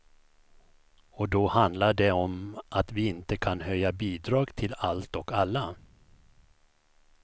Och då handlar det om att vi inte kan höja bidrag till allt och alla.